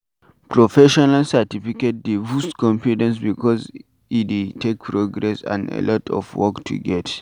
Professional certificate dey boost confidence because e dey take process and alot of work to get